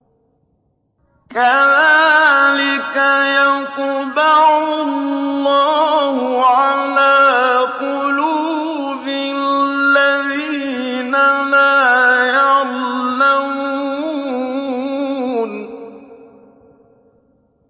كَذَٰلِكَ يَطْبَعُ اللَّهُ عَلَىٰ قُلُوبِ الَّذِينَ لَا يَعْلَمُونَ